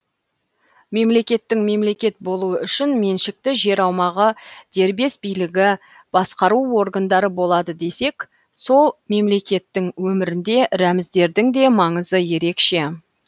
мемлекеттің мемлекет болуы үшін меншікті жер аумағы дербес билігі басқару органдары болады десек сол мемлекеттің өмірінде рәміздердің де маңызы ерекше